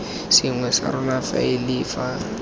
sengwe sa rona faele fa